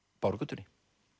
Bárugötunni